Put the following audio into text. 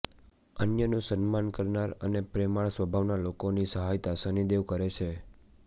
અન્યનું સન્માન કરનાર અને પ્રેમાળ સ્વભાવના લોકોની સહાયતા શનિદેવ કરે છે